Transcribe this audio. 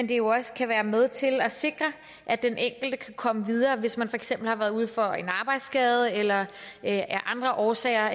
det jo også kan være med til at sikre at den enkelte kan komme videre hvis man for eksempel har været ude for en arbejdsskade eller af andre årsager